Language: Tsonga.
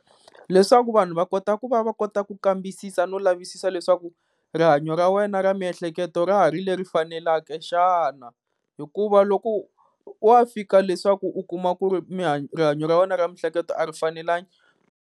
Leswaku vanhu va kota ku va va kota ku kambisisa no lavisisa leswaku rihanyo ra wena ra miehleketo ra ha ri leri fanelaka xana, hikuva loko wa fika leswaku u kuma ku ri rihanyo ra wena ra miehleketo a ri fanelangi.